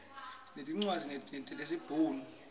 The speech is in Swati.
sinetincwadzi tesi bhunu